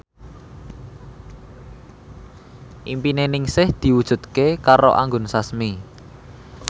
impine Ningsih diwujudke karo Anggun Sasmi